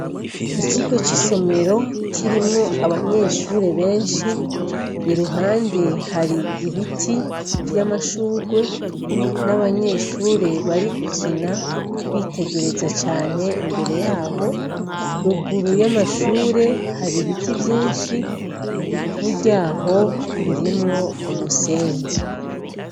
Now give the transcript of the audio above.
Ikigo c'isomero kirimwo abanyeshuri benshi, iruhande hari ibiti vyamashugwe n'abanyeshure bari gukina bitegereza cane imbere yabo, ruguru y'amashure hari ibiti vyishi, Ivu ryaho ririmwo umusenyi.